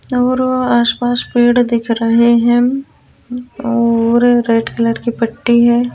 और अ आस पास पेड़ दिख रहे हैं और रेड कलर की पट्टी है ।